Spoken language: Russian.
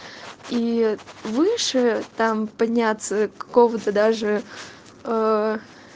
и выше там подняться кого-то даже